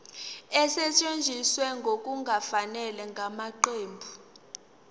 esetshenziswe ngokungafanele ngamaqembu